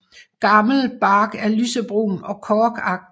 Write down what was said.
Gammel bark er lysebrun og korkagtig